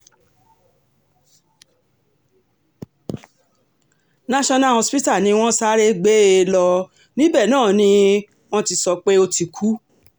national hospital ni wọ́n sáré gbé um e lọ níbẹ̀ náà ni um wọ́n ti sọ pé ó ti kú